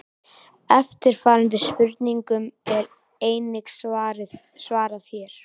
Eftirfarandi spurningum er einnig svarað hér: